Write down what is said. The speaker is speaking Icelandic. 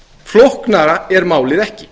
flóknara er málið ekki